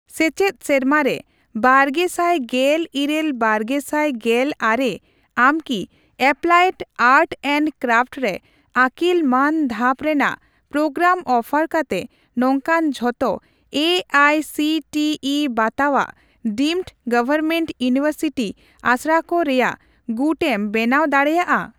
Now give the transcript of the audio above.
ᱥᱮᱪᱮᱫ ᱥᱮᱨᱢᱟᱨᱮ ᱵᱟᱨᱜᱮᱥᱟᱭ ᱜᱮᱞ ᱤᱨᱟᱹᱞᱼᱵᱟᱨᱜᱮᱥᱟᱭ ᱜᱮᱞ ᱟᱨᱮ ᱟᱢᱠᱤ ᱮᱯᱞᱟᱭᱮᱰ ᱟᱨᱴ ᱮᱱᱰ ᱠᱨᱟᱯᱷᱴ ᱨᱮ ᱟᱹᱠᱤᱞ ᱢᱟᱱ ᱫᱷᱟᱯ ᱨᱮᱱᱟᱜ ᱯᱨᱳᱜᱨᱟᱢ ᱚᱯᱷᱟᱨ ᱠᱟᱛᱮ ᱱᱚᱝᱠᱟᱱ ᱡᱷᱚᱛᱚ ᱮ ᱟᱭ ᱥᱤ ᱴᱤ ᱤᱵᱟᱛᱟᱣᱟᱜ ᱰᱤᱢᱰ ᱜᱚᱣᱚᱨᱢᱮᱱᱴ ᱤᱭᱩᱱᱤᱣᱮᱨᱥᱤᱴᱤ ᱟᱥᱲᱟᱠᱚ ᱨᱮᱭᱟᱜ ᱜᱩᱴ ᱮᱢ ᱵᱮᱱᱟᱣ ᱫᱟᱲᱮᱭᱟᱜᱼᱟ ?